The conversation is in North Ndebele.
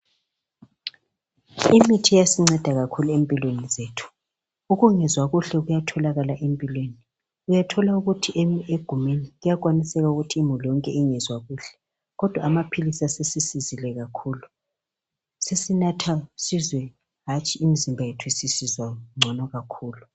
Imithi iyasinceda kakhulu empilweni zethu. Ukungezwa kuhle kuyatholakala empilweni, uyathola ukuthi egumeni kuyakwaniseka ukuthi imuli yonke ingezwa kuhle kodwa amaphilisi asesisizile kakhulu. Sesinatha sizwe hatshi imizimba yethu isisizwa ngono kakhulu.